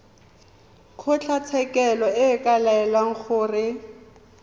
kgotlatshekelo e ka laela gore